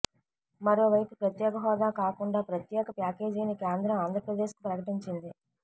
మరో వైపు ప్రత్యేక హోదా కాకుండా ప్రత్యేక ప్యాకేజీని కేంద్రం ఆంద్రప్రదేశ్ కు ప్రకటించింది